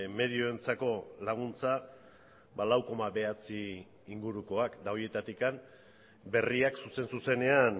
medioentzako laguntza lau koma bederatzi ingurukoak eta horietatik berriak zuzen zuzenean